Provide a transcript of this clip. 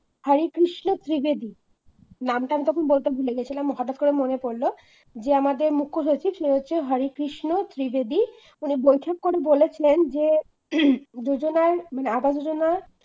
হরেকৃষ্ণ ত্রিবেদী নামটা আমি তখন বলতে ভুলে গেছিলাম হঠাৎ করতে মনে পড়ল যে আমাদের মুখ্য সচিব সে হচ্ছে হরে কৃষ্ণ ত্রিবেদী উনি বৈঠক করে বলেছেন যে হম যোজনায় আবাস যোজনা